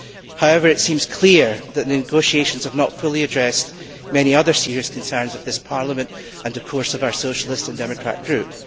However, it seems clear that negotiations have not fully addressed many other serious concerns of this Parliament and, of course, of our Socialist and Democrat Group.